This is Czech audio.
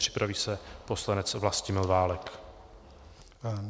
Připraví se poslanec Vlastimil Válek.